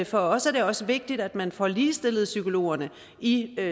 for os er det også vigtigt at man får ligestillet psykologerne i